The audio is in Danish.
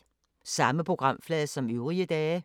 Samme programflade som øvrige dage